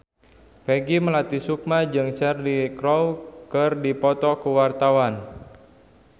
Peggy Melati Sukma jeung Cheryl Crow keur dipoto ku wartawan